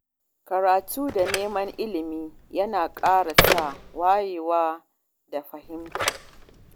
Karatu da neman ilimi yana ƙara sa wayewa da fahimta.